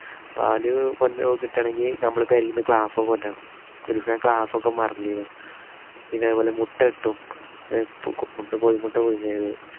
പാല് കിട്ടണമെങ്കിൽ നമ്മള് പെരേന്നു glass ഓ കൊണ്ടോണം. ഒരീസം glass ഒക്കെ മറന്നീനു. പിന്നെ അതുപോലെ മുട്ട കിട്ടും. മുട്ട കോഴി മുട്ട പുഴുങ്ങിയത്.